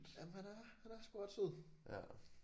Jamen han er han er sgu ret sød